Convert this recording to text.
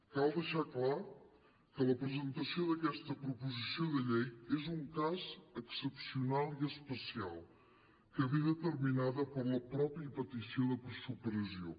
cal deixar clar que la presentació d’aquesta proposició de llei és un cas excepcional i especial que ve determinat per la mateixa petició de supressió